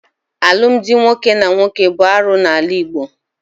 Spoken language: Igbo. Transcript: Alụmdi nwoke na nwoke bụ arụ n'ala Igbo.